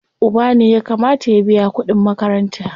Uba ne ya kamata ya biya kuɗin makaranta.